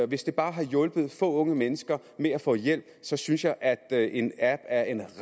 hvis det bare har hjulpet få unge mennesker med at få hjælp så synes jeg at en app er en